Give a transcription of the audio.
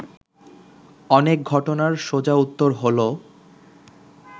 অনেক ঘটনার সোজা উত্তর হলো